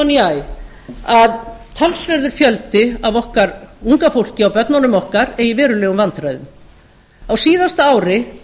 æ að talsverður fjöldi af okkar unga fólki og börnunum okkar eigi í verulegum vandræðum á síðasta ári